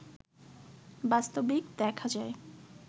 বাস্তবিক দেখা যায়